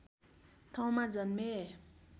ठाउँमा जन्मे